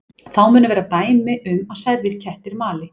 Þá munu vera dæmi um að særðir kettir mali.